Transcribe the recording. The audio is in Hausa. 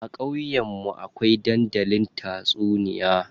A ƙauyen mu akwai dandalin tatsuniya.